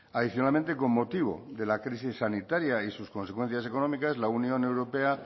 adicionalmente con motivo de la crisis sanitaria y sus consecuencias económicas la unión europea